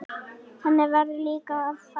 Þannig verður líka að fara.